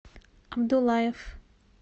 абдулаев